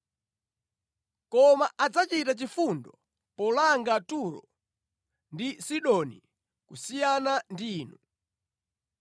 Koma adzachita chifundo polanga Turo ndi Sidoni kusiyana ndi inu.